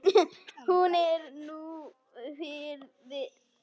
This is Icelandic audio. Hún er nú friðuð.